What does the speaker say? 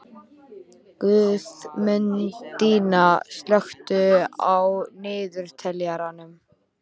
Guðmundína, slökktu á niðurteljaranum.